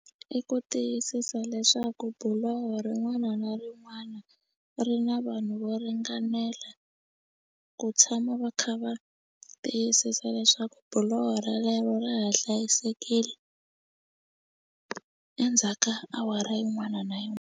I ku tiyisisa leswaku buloho rin'wana na rin'wana ri na vanhu vo ringanela ku tshama va kha va tiyisisa leswaku buloho relero ra ha hlayisekile endzhaka awara yin'wana na .